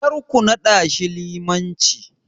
Karku naɗashi limanci.